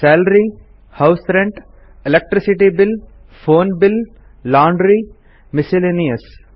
salary house rent electricity bill phone bill laundry ಮತ್ತು miscellaneous